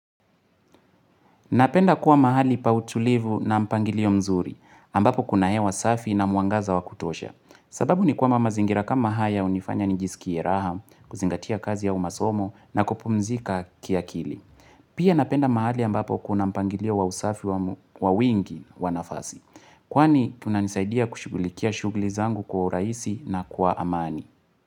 Napenda kuwa mahali pa utulivu na mpangilio mzuri, ambapo kuna hewa safi na mwangaza wa kutosha. Sababu ni kwamba mazingira kama haya hunifanya njisikie raha, kuzingatia kazi au masomo na kupumzika kiakili. Pia napenda mahali ambapo kuna mpangilio wa usafi wa wingi wa nafasi. Kwani kunanisaidia kushughulikia shughuli zangu kwa urahisi na kwa amani.